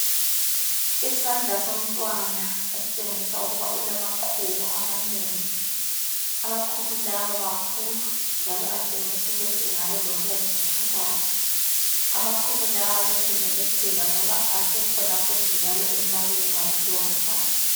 Isandla somntwana esitshengisa ukuba ulamaqhubu amanengi. Amaqhubu lawa makhulu njalo atshengisa ukuthi engabe elobomvu phakathi. Amaqhubu lawa lokhe ememetheka ngoba esikhona njalo embaleni wakhe lowu mntwana.